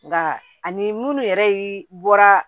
Nka ani minnu yɛrɛ ye bɔra